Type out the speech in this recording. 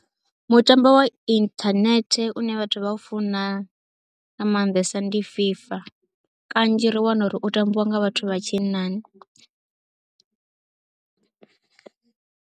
Mutambo wa inthanethe une vhathu vha u funa nga maanḓesa ndi FIFA, kanzhi ri wana uri u tambiwa nga vhathu vha tshinnani.